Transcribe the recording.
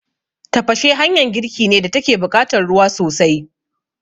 Tafashe hanyan girki ne da take buƙatan ruwa sosai